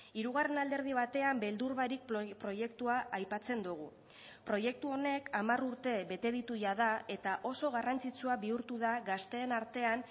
hirugarren alderdi batean beldur barik proiektua aipatzen dugu proiektu honek hamar urte bete ditu jada eta oso garrantzitsua bihurtu da gazteen artean